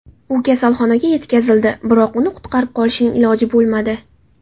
U kasalxonaga yetkazildi, biroq uni qutqarib qolishning iloji bo‘lmadi.